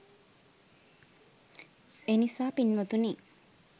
එනිසා පින්වතුනි,